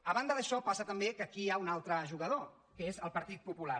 a banda d’això passa també que aquí hi ha un altre jugador que és el partit popular